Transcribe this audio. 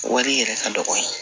Wari yɛrɛ ka dɔgɔ yen